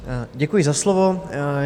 Děkuji za slovo.